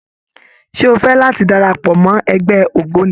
Ṣé o fẹ́ láti darapọ̀ mọ́ ẹgbẹ́ ògbóni?